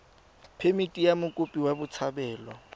phemithi ya mokopi wa botshabelo